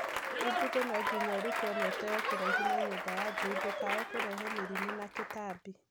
Umbuthĩ no nginya ũrutwo na ũteo kũraihu na nyũmba ya njui ndũkae kũrehe mĩrimũ na tũtambi.